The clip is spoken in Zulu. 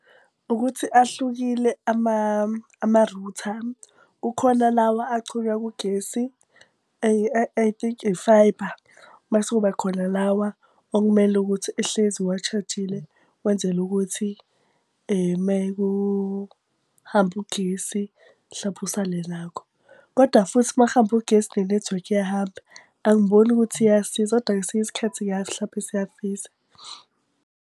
Ukuthi ahlukile amarutha, kukhona lawa achunywa kugesi I think ifayibha, mase kuba khona lawa okumele ukuthi uhlezi owashajile wenzele ukuthi mekuhambe ugesi mhlampe usale nakho. Kodwa futhi uma kuhambe ugesi nenethiwekhi iyahamba, angiboni ukuthi iyasiza kodwa kwesinye isikhathi mhlampe siyasiza.